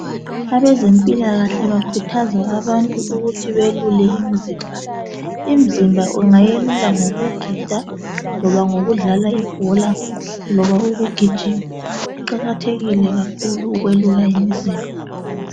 Abezempilakahle bakhuthaza abantu ukuthi bayelule imzimba. Imzimba ungayelula ngokugida, loba ngokudlala ibhola loba ngokugijima. Kuqakathekile ukwelula imizimba